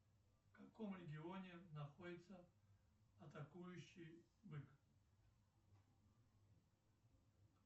в каком регионе находится атакующий бык